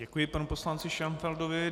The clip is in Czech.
Děkuji panu poslanci Šenfeldovi.